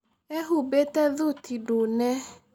Eehumbĩte thuti ndune.